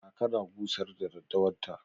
Kaka na busar da daddawar ta.